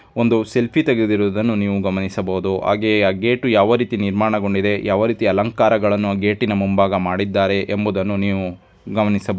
ಒಂದು ಸೆಲ್ಫಿ ತೆಗೆದಿರೋದನ್ನು ನೀವು ಗಮನಿಸಬಹುದು ಹಾಗೆ ಆ ಗೇಟು ಯಾವ ರೀತಿ ನಿರ್ಮಾಣಗೊಂಡಿದೆ ಯಾವ ರೀತಿ ಅಲಂಕಾರಗಳನ್ನು ಆ ಗೇಟಿ ನ ಮುಂಭಾಗ ಮಾಡಿದ್ದಾರೆ ಎಂಬುದನ್ನು ನೀವು ಗಮನಿಸಬಹುದು.